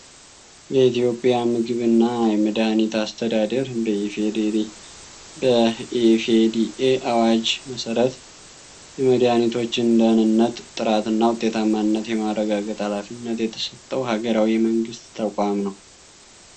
የኢትዮጵያ የምግብ እና የመድኃኒት አስተዳደር በኢ.ፌ.ዲ.ኤ አዋጅ መሰረት የመድኃኒቶችን ደኅንነት፣ ጥራት እና ውጤታማነት የማረጋገጥ ኃላፊነት የተሰጠው ሃገራዊ የመንግስት ተቋም ነው።